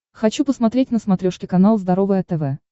хочу посмотреть на смотрешке канал здоровое тв